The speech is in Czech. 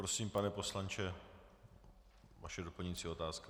Prosím, pane poslanče, vaše doplňující otázka.